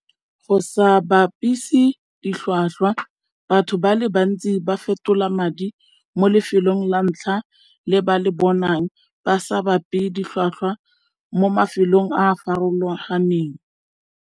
Go sa bapise ditlhwatlhwa batho ba le bantsi ba fetola madi mo lefelong la ntlha le ba le bonang ba sa ditlhwatlhwa mo mafelong a a farologaneng.